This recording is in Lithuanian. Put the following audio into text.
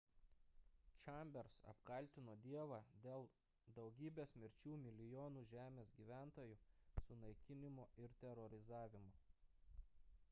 chambers apkaltino dievą dėl daugybės mirčių milijonų žemės gyventojų sunaikinimo ir terorizavimo